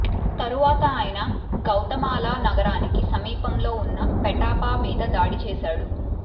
తరువాత ఆయన గౌతమాలా నగరానికి సమీపంలో ఉన్న పెటాపా మీద దాడి చేసాడు